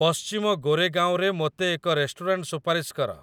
ପଶ୍ଚିମ ଗୋରେଗାଓଁରେ ମୋତେ ଏକ ରେଷ୍ଟୁରାଣ୍ଟ ସୁପାରିଶ କର